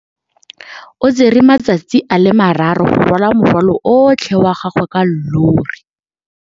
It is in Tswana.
O tsere malatsi a le marraro go rwala morwalo otlhe wa gagwe ka llori.